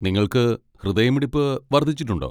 നിങ്ങൾക്ക് ഹൃദയമിടിപ്പ് വർദ്ധിച്ചിട്ടുണ്ടോ?